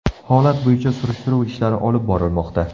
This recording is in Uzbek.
Holat bo‘yicha surishtiruv ishlari olib borilmoqda.